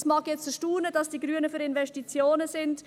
Es mag erstaunen, dass die Grünen für Investitionen sind.